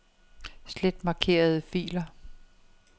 Slet markerede filer.